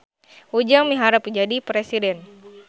Ujang miharep jadi presiden